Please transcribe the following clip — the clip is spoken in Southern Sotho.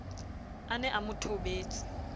a ne a mo thobetse